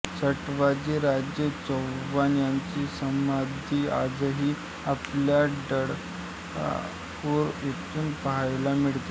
सटवाजीराजे चव्हाण यांची समाधी आजही आपल्याला डफळापूर येथे पाहायला मिळते